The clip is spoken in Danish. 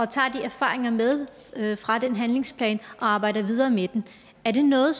tager de erfaringer med fra den handlingsplan og arbejder videre med dem er det noget